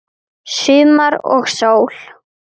Sumar og sól.